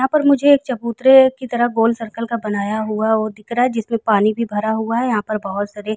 यहाँ पर मुझे एक चबूतरे की तरह गोल सर्कल का बनाया हुआ वो दिख रहा जिसमें पानी भी भरा हुआ है। यहाँ पर बहुत सारे --